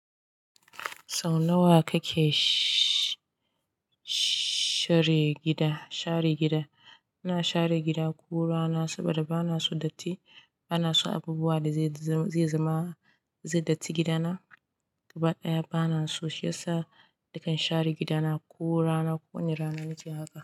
Sau nawa kake sh-sh-share gida, share gida? Ina share gida ko rana saboda bana so datti. Bana so abubuwa da zai zama, zai datti gidana. Gaba ɗaya bana so, shiyasa nakan share gidana ko rana ko wani rana nake haka.